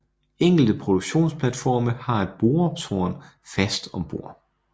Enkelte produktionsplatforme har et boretårn fast om bord